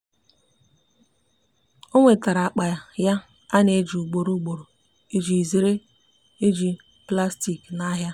o nwetara akpa ya ana eji ugboro ugboro iji zere iji plastik na ahia